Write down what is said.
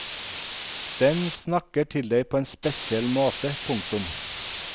Den snakker til deg på en spesiell måte. punktum